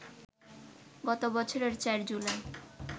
গত বছরের ৪ জুলাই